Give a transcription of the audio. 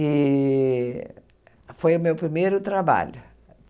E foi o meu primeiro trabalho.